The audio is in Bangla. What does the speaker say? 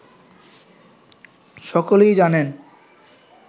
সকলেই জানেন